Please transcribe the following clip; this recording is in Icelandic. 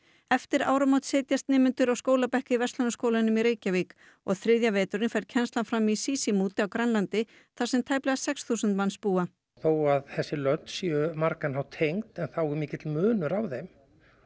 eftir áramót setjast nemendurnir á skólabekk í Verslunarskólanum í Reykjavík og þriðja veturinn fer kennslan fram í Sisimiut á Grænlandi þar sem tæplega sex þúsund manns búa þó að þessi lönd séu á margan hátt tengd þá er mikill munur á þeim